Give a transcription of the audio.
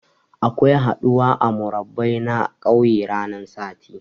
Akwai haɗuwa a murabba'i na kauye ranan sati.